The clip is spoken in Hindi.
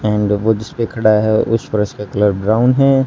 एंड वो जिस पे खड़ा है उस फर्श का कलर ब्राउन है।